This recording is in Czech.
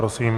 Prosím.